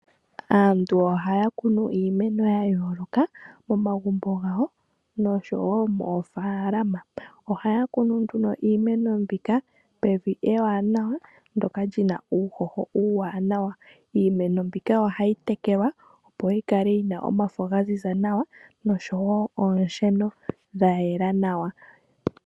Aantu ohaya kunu iimeno ya yooloka momagumbo gawo noshowo moofalama ohaya kunu iimeno pevi ewanawa ndyoka li na uuhoho uuwananwa. Iimeno ohayi tekelwa opo yi kale yi na omafo ga ziza nawa oshowo oonsheno dha yela nawa.